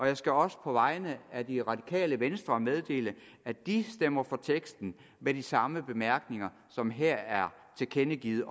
jeg skal også på vegne af det radikale venstre meddele at de stemmer for teksten med de samme bemærkninger som her er tilkendegivet